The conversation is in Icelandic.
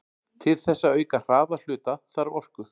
Til þess að auka hraða hluta þarf orku.